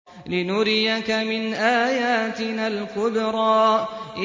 لِنُرِيَكَ مِنْ آيَاتِنَا الْكُبْرَى